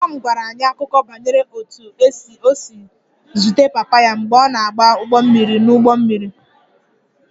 Mama m gwara anyị akụkọ banyere otú o si zute papa ya mgbe ọ na-agba ụgbọ mmiri n'ụgbọ mmiri